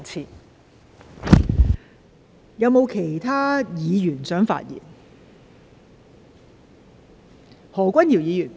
是否有其他議員想發言？